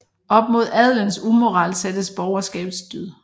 Op mod adelens umoral sættes borgerskabets dyd